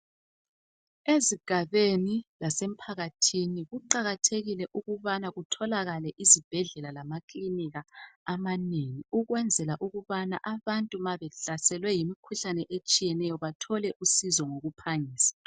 Ezigabeni lasemphakathini kuqakathekile ukubana kutholakale izibhedlela lama kilinika amanengi ukwenzela ukubana abantu ma behlaselwe yimikhuhlane etshiyeneyo bathole usizo ngokuphangisa.